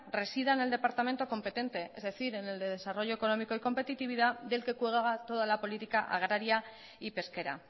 resida en el departamento competente es decir en el de desarrollo económico y competitividad del que cuelga toda la política agraria y pesquera